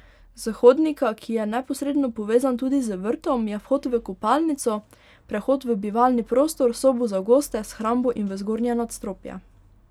S hodnika, ki je neposredno povezan tudi z vrtom, je vhod v kopalnico, prehod v bivalni prostor, sobo za goste, shrambo in v zgornje nadstropje.